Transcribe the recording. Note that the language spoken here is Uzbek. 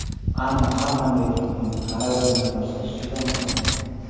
Ammo har qanday turnirni g‘alaba bilan boshlash juda muhim.